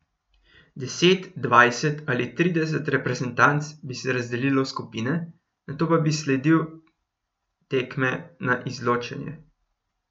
Deset, dvajset ali trideset reprezentanc bi se razdelilo v skupine, nato pa bi sledil tekme na izločanje.